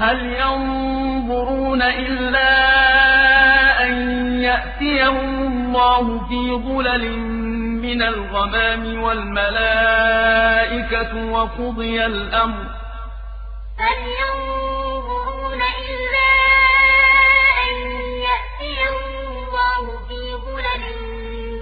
هَلْ يَنظُرُونَ إِلَّا أَن يَأْتِيَهُمُ اللَّهُ فِي ظُلَلٍ مِّنَ الْغَمَامِ وَالْمَلَائِكَةُ وَقُضِيَ الْأَمْرُ ۚ وَإِلَى اللَّهِ تُرْجَعُ الْأُمُورُ هَلْ يَنظُرُونَ إِلَّا أَن يَأْتِيَهُمُ اللَّهُ فِي ظُلَلٍ